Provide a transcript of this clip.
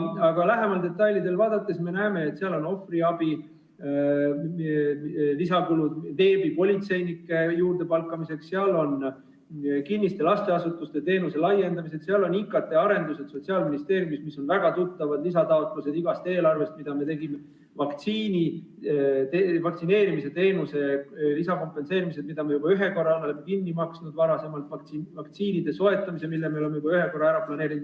Aga lähemalt detaile vaadates me näeme, et seal on ohvriabi kulud, lisakulud veebipolitseinike juurdepalkamiseks, kinnise lasteasutuse teenuse laiendamise kulu, IKT-arendused Sotsiaalministeeriumis – need on väga tuttavad lisataotlused igast eelarvest, mis me tegime –, vaktsineerimisteenuse lisakompensatsioon, mille me oleme juba ühe korra kinni maksnud, vaktsiinide soetamise kulud, mille me oleme samuti juba ühe korra ära planeerinud.